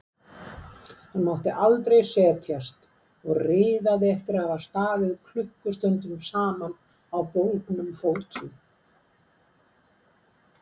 Hann mátti aldrei setjast og riðaði eftir að hafa staðið klukkustundum saman á bólgnum fótum.